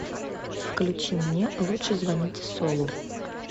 включи мне лучше звоните солу